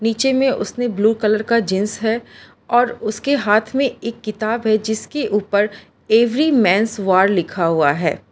नीचे मे उसने ब्लू कलर का जींस है और उसके हाथ में एक किताब है जिसके ऊपर एवरी मेंस वार लिखा हुआ है।